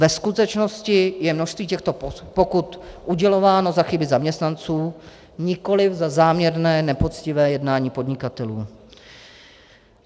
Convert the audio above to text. Ve skutečnosti je množství těchto pokut udělováno za chyby zaměstnanců, nikoli za záměrné nepoctivé jednání podnikatelů.